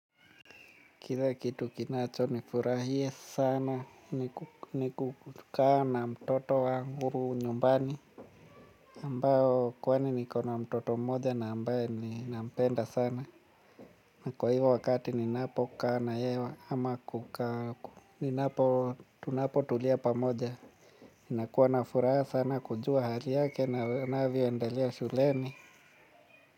Kile kitu kinacho nifurahia sana ni kukaa na mtoto wangu nyumbani. Ambao kwani niko na mtoto mmoja na ambaye ninampenda sana. Na kwa hivyo wakati ninapo kaa na yewa ama kukaa hapo tunapo tulia pamoja. Ninakuwa na furaha sana kujua hali yake na anavyo endelea shuleni.